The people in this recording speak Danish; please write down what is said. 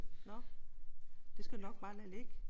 Nå. Det skal du nok bare lade ligge